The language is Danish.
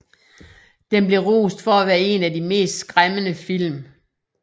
Den blev rost for at være en af de mest skræmmende film